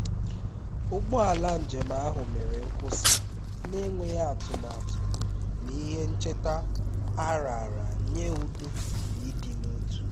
ụgbọ ala njem ahụ mere nkwụsị na-enweghị atụmatụ na ihe ncheta a raara nye udo na ịdị n'otu